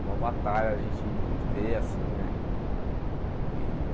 Uma batalha, a gente vê assim, né? Que